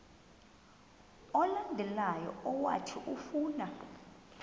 olandelayo owathi ufuna